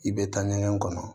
I bɛ taa ɲɛgɛn kɔnɔ